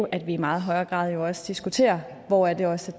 at vi i meget højere grad også diskuterer hvor det også